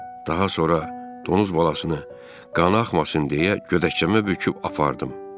Daha sonra donuz balasını qana axmasın deyə gödəkçəmə büküb apardım.